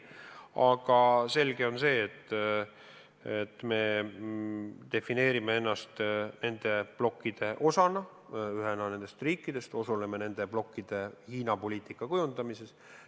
Aga selge on see, et me defineerime ennast nende blokkide osana, ühena nendest riikidest, osaleme nende blokkide Hiina-poliitika kujundamises.